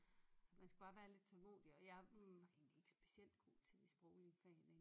Så man skulle bare være lidt tålmodig og jeg var egentlig ikke specielt god til de sproglige fag